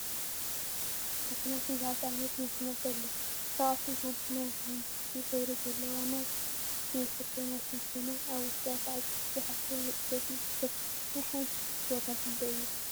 ማሽናት ቡዙሓት ዓይነት ማሽናት አለው፡፡ ካብአቶም ሓንቲ ናይ ሓመኩሽቲ ሕብሪ ዘለዋ ናይ ችፕስ መስርሒ ማሽን ኮይና፤ አብ ውሽጣ ከዓ ችፕስ ዝሓዘ መፅፈፊ ይርከብ፡፡ ናይ ሓንቲ ችፕስ ዋጋ ክንደይ እዩ?